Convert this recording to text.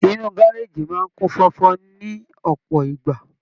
Inú gárájí máa n kún fọfọ ni ọpọ ìgbà.